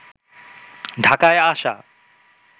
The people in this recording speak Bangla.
ঢাকায় আসা